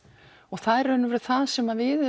það er í raun og veru það sem við